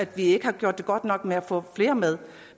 vi har gjort det godt nok med at få flere med